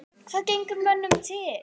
Hvað gengur mönnum til?